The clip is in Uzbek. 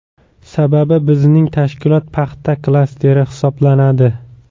Sababi bizning tashkilot paxta klasteri hisoblanadi.